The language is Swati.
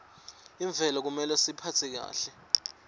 imvelo kumele siyiphatse kahle